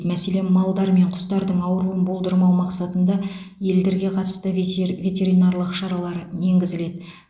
мәселен малдар мен құстардың ауыруын болдырмау мақсатында елдерге қатысты ветер ветеринарлық шаралар енгізіледі